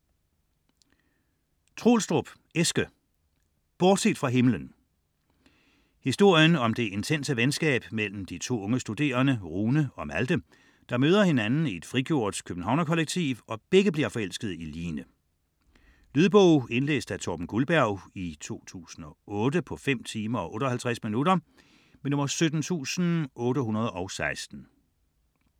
Troelstrup, Eske: Bortset fra himlen Historien om det intense venskab mellem to unge studerende, Rune og Malthe, der møder hinanden i et frigjort københavnerkollektiv og begge bliver forelskede i Line. Lydbog 17816 Indlæst af Torben Gulberg, 2008. Spilletid: 5 timer, 58 minutter.